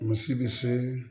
Misi bi see